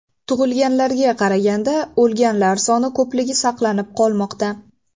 Tug‘ilganlarga qaraganda o‘lganlar soni ko‘pligi saqlanib qolmoqda.